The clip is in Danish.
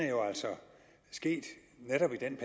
jo altså er sket netop i den